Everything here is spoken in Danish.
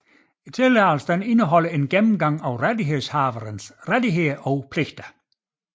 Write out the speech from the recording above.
Tilladelsen indeholder en gennemgang af rettighedshaverens rettigheder og pligter